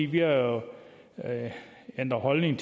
vi jo ændret holdning